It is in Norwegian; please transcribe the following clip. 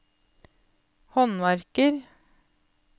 håndverker